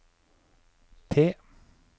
T